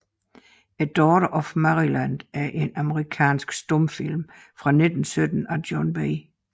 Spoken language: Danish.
A Daughter of Maryland er en amerikansk stumfilm fra 1917 af John B